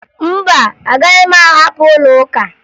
Mba, agaghị m ahapụ ụlọụka